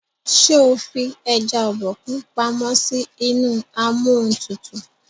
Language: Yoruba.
ṣe o fí eja Obokun pàmò sí inú Amóhuntutù?